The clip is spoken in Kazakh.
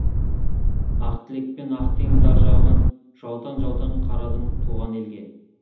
ақ тілекпен ақ теңіз ар жағынан жаутаң жаутаң қарадың туған елге